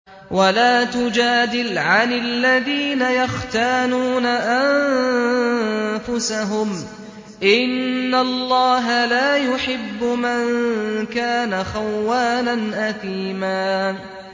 وَلَا تُجَادِلْ عَنِ الَّذِينَ يَخْتَانُونَ أَنفُسَهُمْ ۚ إِنَّ اللَّهَ لَا يُحِبُّ مَن كَانَ خَوَّانًا أَثِيمًا